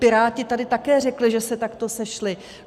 Piráti tady také řekli, že se takto sešli.